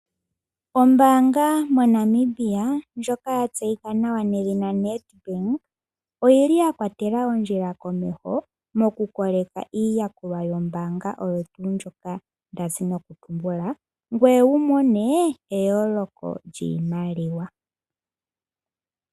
Ombaanga moNamibia ndjoka ya tseyika nawa nedhina NET Bank. Oyili ya kwatela ondjila komeho moku koleka iiyakulwa yombaanga oyo tuu ndjoka ndazi noku tumbula. Ngoye wumone eyooloko lyiimaliwa.